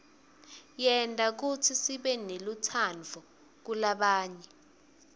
yenta kutsi sibenelutsandvo kulabanye